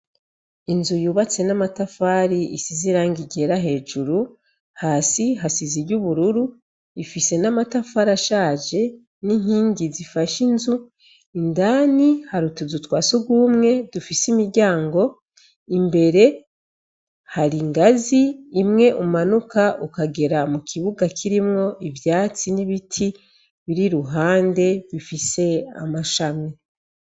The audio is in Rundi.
Inzu yubatse n'amatafari isi ziranga igera hejuru, hasi hasiza iry’ubururu, ifise n'amatafari ashaje n'inkingi zifash’inzu, indani harutuzu twasegumwe dufise imiryango imbere hari ingazi imwe umanuka uka kagera mu kibuga kirimwo ivyatsi n'ibiti biri ruhande bifise amashame.